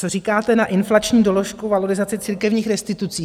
Co říkáte na inflační doložku, valorizaci církevních restitucí?